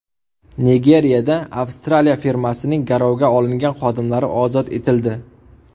Nigeriyada Avstraliya firmasining garovga olingan xodimlari ozod etildi.